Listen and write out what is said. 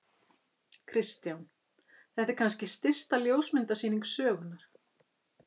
Kristján: Þetta er kannski stysta ljósmyndasýning sögunnar?